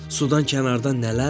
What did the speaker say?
Sudan kənardan nələr var?